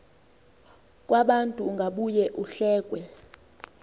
kwabantu ungabuye uhlekwe